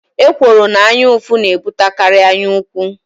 Ekworo na anyaụfụ na-ebutekarị anyaukwu.